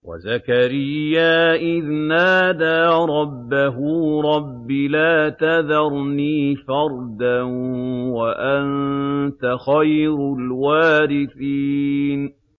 وَزَكَرِيَّا إِذْ نَادَىٰ رَبَّهُ رَبِّ لَا تَذَرْنِي فَرْدًا وَأَنتَ خَيْرُ الْوَارِثِينَ